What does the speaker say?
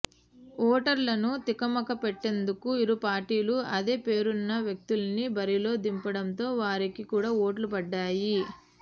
ఓటర్లను తికమకపెట్టేందుకు ఇరు పార్టీలు అదే పేరున్న వ్యక్తుల్ని బరిలో దింపడంతో వారికి కూడా ఓట్లు పడ్డాయి